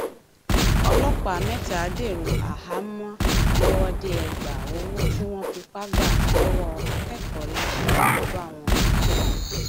ọlọpàá mẹta dèrò àhámọ lọwọdeẹgbà owó tí wọn fipá gbà lọwọ akẹkọọ láṣù ló kó bá wọn